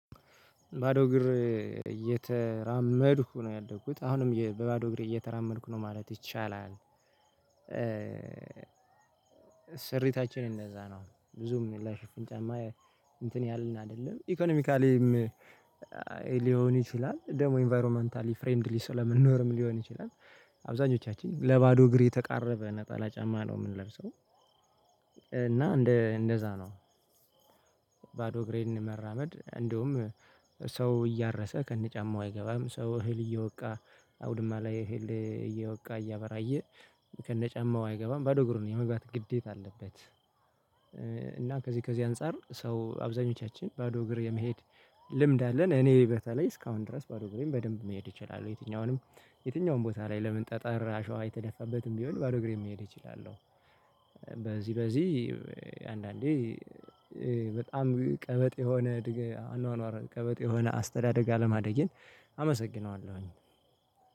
ባዶ እግር እየተራመድኩ ነው ያደኩት አሁንም በባዶ እግሬ እየተራመድኩ ነው ማለት ይቻላል። ስሪታችን እንደዛ ነው። ብዙም ለ ሽፍን ጫማ እንትን ያለን አይደለም። ኢኮኖሚካሊም ሊሆን ይችላል፤ ደግሞ ኢንቫይሮመንታሊ ፍሬምድሊ ስለምንኖርም ሊሆን ይችላል። አብዛኞቻችን ለባዶ እግር የተቃረበ ነጠላ ጫማ ነው የምንለብሰው፤ እና እንደ እንደዛ ነው። ባዶ እግሬን መራመድ፤ እንደውም ሰው እያረሰ ከነጫማው አይገባም፤ ሰው እህል እየወቃ አውድማ ላይ እህል እየወቃ እያበራየ ከነጫማው አይገባም፤ ባዶ እግሩን የመግባት ግዴታ አለበት። እና ከዚህ ከዚህ አንፃር ሰው አብዛኞቻችን ባዶ እግር የመሄድ ልምድ አለን። እኔ በተለይ እስካሁን ድረስ ባዶ እግሬን በደንብ መሄድ እችላለሁ። የትኛውንም የትኛውም ቦታ ላይ ለምን ጠጠር አሸዋ የተደፋበትም ቢሆን ባዶ እግሬን መሄድ እችላለሁ። በዚህ በዚህ አንዳንዴ በጣም ቀበጥ የሆነ አኗኗር ቀበጥ የሆነ አስተዳደግ አለማደጌን አመሰግነዋለሁኝ።